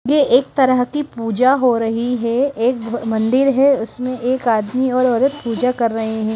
ये एक तरह की पूजा हो रही है एक मंदिर है उसमें एक आदमी और औरत पूजा कर रहे हैं।